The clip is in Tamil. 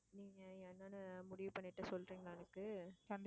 நீங்க என்னன்னு முடிவு பண்ணிட்டு சொல்றீங்களா எனக்கு